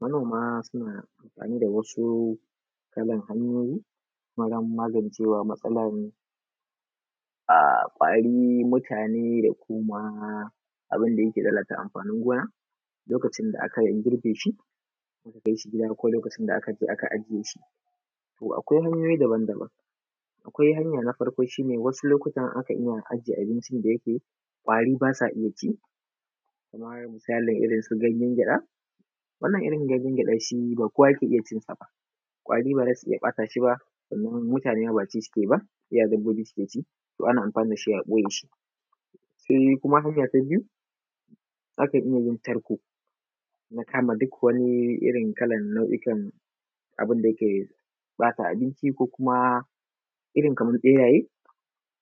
Manoma suna amfani da wasu kalan hanyoyi wajen magancewa matsalan um ƙwari, mutane, da kuma abinda yake lalata amfanin gona lokacin da aka girbe shi aka kai shi gida, ko lokacin da aka je aka ajiye shi. To akwai hanyoyi dabam dabam, akwai hanya na farko shi ne wasu lokutan akan iya ajiye abinci da yike ƙwari basa iya ci, kamar misali irin su ganyen gyaɗa, wannan irin ganyen gyaɗa shi ba kowa yake iya cinsa ba, ƙwari ba za su iya bata shi ba, sannan mutane ma ba ci suke yi iya dabbobi su ke ci, to ana iya amfani dashi a ɓoye shi. Sai kuma hanya ta biyu akan iya yin tarko na kama duk wani irin kalan nau’ikan abinda yake bata abinci, ko kuma irin kaman ɓeraye,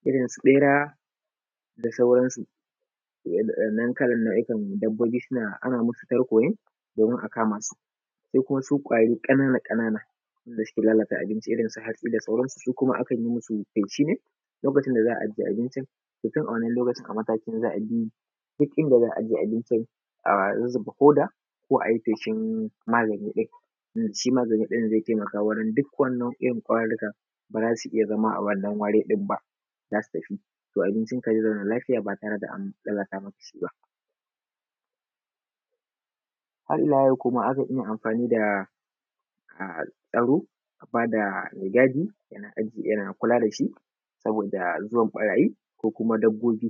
irin su ɓera da sauransu. Toh wadan nan kalan nau’ikan dabbobi ana musu tarko ne domin a akama su. Sai kuma su ƙwari ƙanana ƙanana wanda suke lalata abinci irin su hatsi da sauransu, su kuma akan yi musu feshi ne lokacin da za a aje abincin, to tun a wannan lokacin a matakin da za a bi duk inda za a aje abincin a zuzuba hoda ko ayi feshin magani ɗin, shi magani din zai taimaka wurin duk wani irin ƙwararika ba za su iya zama a wannan wari ɗin ba, za su tafi. To abincika zai zauna lafiya ba tare da an lalata maka shi ba. Har ila yau kuma akan iya amfani da[um] tsaro a bada mai gadi yana ajiye. yana kula dashi, saboda zuwan ɓarayi ko kuma dabbobi.